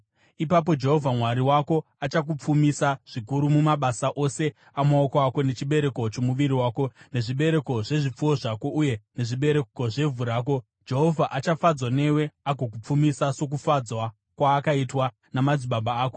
Ipapo Jehovha Mwari wako achakupfumisa zvikuru mumabasa ose amaoko ako nechibereko chomuviri wako, nezvibereko zvezvipfuwo zvako uye nezvibereko zvevhu rako. Jehovha achafadzwazve newe agokupfumisa, sokufadzwa kwaakaitwa namadzibaba ako,